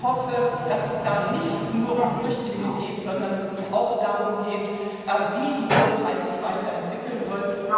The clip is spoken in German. ich hoffe, dass es da nicht nur um Flüchtlinge geht, sondern dass es auch darum geht, wie die Türkei sich weiterentwickeln soll.